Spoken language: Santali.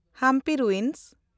ᱦᱟᱢᱯᱤ ᱨᱩᱭᱤᱱᱥ